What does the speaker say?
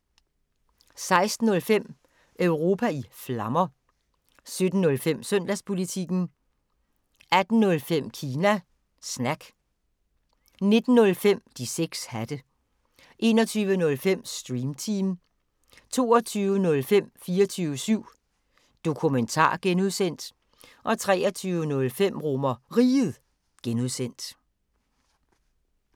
16:05: Europa i Flammer 17:05: Søndagspolitikken 18:05: Kina Snak 19:05: De 6 hatte 21:05: Stream Team 22:05: 24syv Dokumentar (G) 23:05: RomerRiget (G)